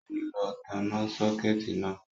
Ó ti lọ tanná sọ́kẹ̀tì náà